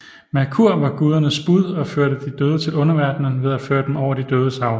Merkur var gudernes bud og førte de døde til underverdenen ved at føre dem over de dødes hav